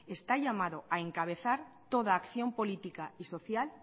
está llamado a encabezar toda acción política y social